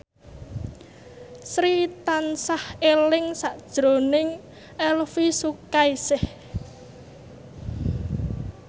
Sri tansah eling sakjroning Elvi Sukaesih